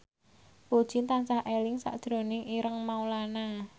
Puji tansah eling sakjroning Ireng Maulana